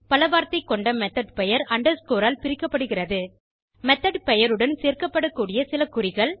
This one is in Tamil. பல வார்த்தை கொண்ட மெத்தோட் பெயர் அண்டர்ஸ்கோர் ஆல் பிரிக்கப்படுகிறது மெத்தோட் பெயருடன் சேர்க்கப்பட கூடிய சில குறிகள்